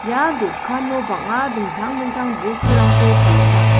ia dokano bang·a dingtang dingtang botturangko palenga.